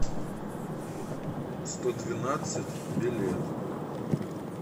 сто двенадцать билет